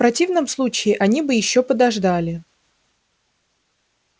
в противном случае они бы ещё подождали